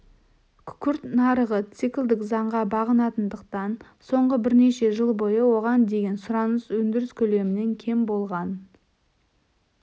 күкірт нарығы циклдік заңға бағынатындықтан соңғы бірнеше жыл бойы оған деген сұраныс өндіріс көлемінен кем болған